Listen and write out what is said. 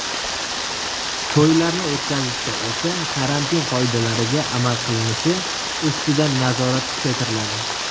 To‘ylarni o‘tkazishda esa karantin qoidalariga amal qilinishi ustidan nazorat kuchatiriladi.